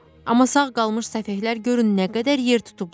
Amma sağ qalmış səfehlər görün nə qədər yer tutublar.